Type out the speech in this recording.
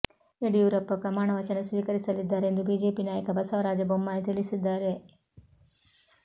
ಯಡಿಯೂರಪ್ಪ ಪ್ರಮಾಣ ವಚನ ಸ್ವೀಕರಿಸಲಿದ್ದಾರೆ ಎಂದು ಬಿಜೆಪಿ ನಾಯಕ ಬಸವರಾಜ ಬೊಮ್ಮಾಯಿ ತಿಳಿಸಿದ್ದಾರೆ